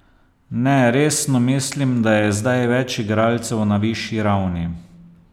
Ne, resno, mislim, da je zdaj več igralcev na višji ravni.